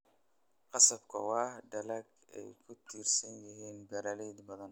Qasabka waa dalag ay ku tiirsan yihiin beeraley badan.